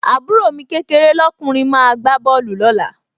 àbúrò mi kékeé lọ́kùnrin máa gbá bọ́ọ̀lù lọ́la